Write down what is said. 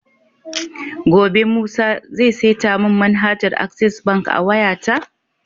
Gobe musa zai seta mun manhajar access bank a wayata?